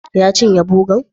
Ya cinye bogan?